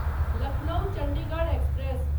Lucknow Chandigarh express